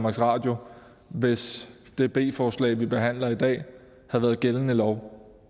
radio hvis det b forslag vi behandler i dag havde været gældende lov